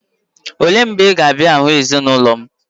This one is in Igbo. Oleè mgbè kà ị ga abịa hụ ezi na ulọ m?